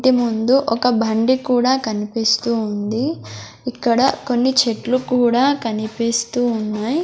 ఇంటిముందు ఒక బండి కూడా కనిపిస్తూ ఉంది ఇక్కడ కొన్ని చెట్లు కూడా కనిపిస్తూ ఉన్నాయ్.